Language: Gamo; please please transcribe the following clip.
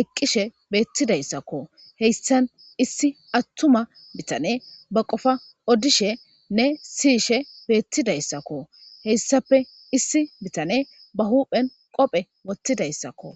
eqqishe beettidayssakko heyssan issi attuma bitane ba qofa odishenne siyishe beettidayssakko heyssape issi bitane ba huphen qophe wottidayssakko